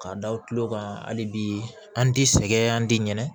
K'a da u tulo kan hali bi an ti sɛgɛn an ti ɲinɛ